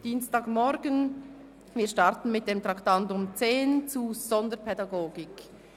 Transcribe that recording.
Wir beginnen mit dem Traktandum 10, Sonderpädagogik.